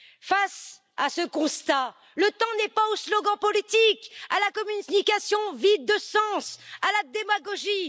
Face à ce constat, le temps n'est pas aux slogans politiques, à la communication vide de sens ou à la démagogie.